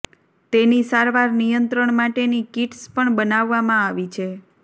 તેની સારવાર નિયંત્રણ માટેની કીટસ પણ બનાવવામાં આવી છે